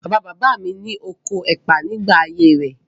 Bàbá-bàbá mi ní oko ẹ̀pà nígbà ayé rẹ̀.